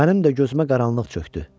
Mənim də gözümə qaranlıq çökdü.